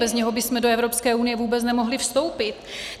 Bez něho bychom do Evropské unie vůbec nemohli vstoupit.